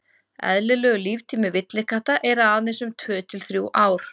eðlilegur líftími villikatta er aðeins um tvö til þrjú ár